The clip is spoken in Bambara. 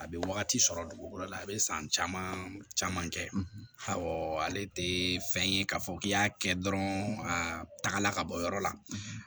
A bɛ wagati sɔrɔ dugukolo la a bɛ san caman kɛ ale tɛ fɛn ye k'a fɔ k'i y'a kɛ dɔrɔn a tagala ka bɔ yɔrɔ la